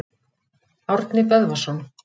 Árni Böðvarsson.